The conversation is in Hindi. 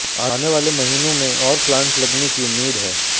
आने वाले महीनों में और प्लांट लगने की उम्मीद है